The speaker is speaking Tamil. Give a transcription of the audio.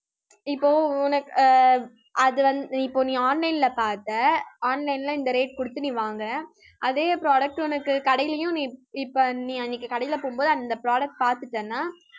இப்போ உனக்கு அஹ் அது வந்து இப்போ நீ online ல பார்த்த online ல இந்த rate கொடுத்து நீ வாங்கறே. அதே product உனக்கு கடையிலேயும், நீ இப்ப நீ அன்னைக்கு கடையிலே போகும்போது அந்த product பாத்துட்டேன்னா